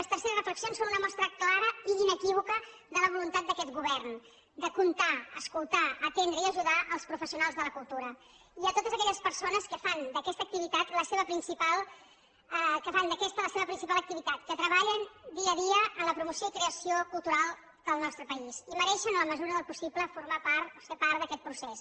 les terceres reflexions són una mostra clara i inequívoca de la voluntat d’aquest govern de comptar escoltar atendre i ajudar els professionals de la cultura i totes aquelles persones que fan d’aquesta la seva principal activitat que treballen dia a dia en la promoció i creació cultural del nostre país i mereixen en la mesura del possible formar part o ser part d’aquest procés